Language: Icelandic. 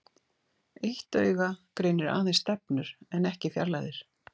Eitt auga greinir aðeins stefnur en ekki fjarlægðir.